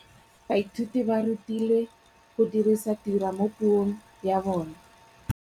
Baithuti ba rutilwe go dirisa tirwa mo puong ya bone.